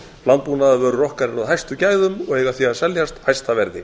landbúnaðarvörur okkar eru af hæstu gæðum og eiga því að seljast hæsta verði